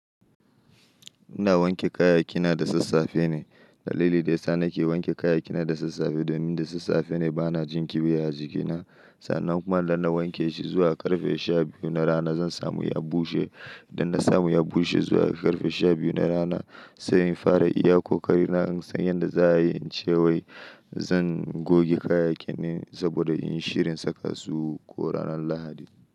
Ina wanke kayayyakina da sassafe ne. Dalilin da ya sa nake wanke kayayyakina da sassafe domin da sassafe ne bana jin kiwya a jikina. Sannan kuma idan na wanke shi zuwa karfe sha biyu na rana zan samu ya bushe. Idan na samu ya bushe zuwa karfe sha biyu na rana, sai in fara iya ƙoƙarina in san yanda za a yi, in ce wai zan goge kayayyakin saboda in yi shirin saka su ko ranar Lahadi.